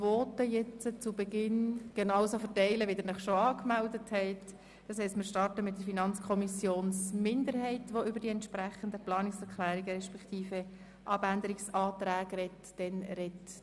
Ich möchte mit der FiKo-Minderheit starten, die über die entsprechenden Planungserklärungen beziehungsweise die Abänderungsanträge sprechen wird.